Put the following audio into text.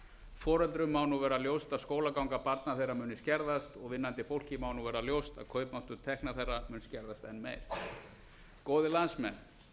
foreldrum má nú verða ljóst að skólaganga barna þeirra muni skerðast og vinnandi fólki má nú verða ljóst að kaupmáttur tekna þeirra mun skerðast enn meir góðir landsmenn